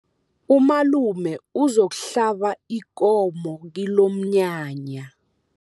Umalume uzokuhlaba ikomo kilomnyanya.